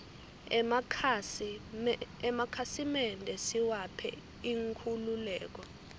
emakhasi mende siwaphe inkhululeke